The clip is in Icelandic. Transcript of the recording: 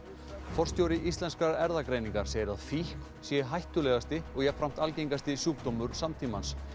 forstjóri Íslenskrar erfðagreiningar segir að fíkn sé hættulegasti og jafnframt algengasti sjúkdómur samtímans